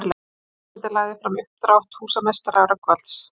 Varaforseti lagði fram uppdrátt húsameistara Rögnvalds